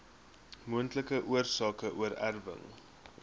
moontlike oorsake oorerwing